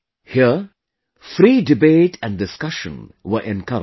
Here, free debate and discussion were encouraged